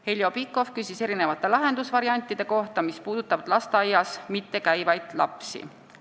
Heljo Pikhof küsis erinevate lahendusvariantide kohta, mis puudutavad lasteaias mittekäivaid lapsi.